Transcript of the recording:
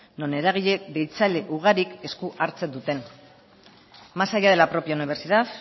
non eragile ugarik esku hartzen duten más allá de la propia universidad